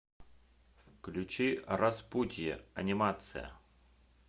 включи распутье анимация